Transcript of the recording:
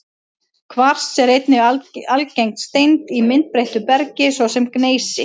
Kvars er einnig algeng steind í myndbreyttu bergi, svo sem í gneisi.